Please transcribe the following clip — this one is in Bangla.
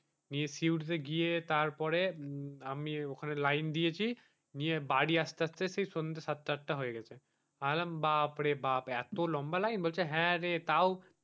নিয়ে সিউড়িতে গিয়ে তারপরে আমি ওখানে লাইন দিয়েছি নিয়ে বাড়ি আসতে আসতে সেই সন্ধ্যা সাতটা আটটা হয়ে গেছে। আমি বললাম বাপরে বাপ এত লম্বা লাইন বললো যে হ্যাঁ রে তাও,